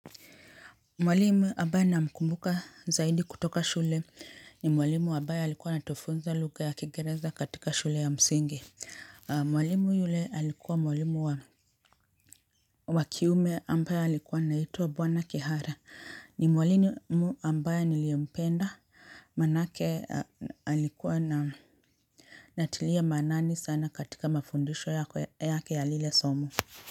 Mwalimu ambaye namkumbuka zaidi kutoka shule ni mwalimu ambaye alikuwa anatufunza luga ya kigereza katika shule ya msingi. Mwalimu yule alikuwa mwalimu wa kiume ambaye alikuwa anaitwa bwana Kihara. Ni mwalimu ambaye niliempenda manake alikuwa na natilia maanani sana katika mafundisho yake ya lile somo.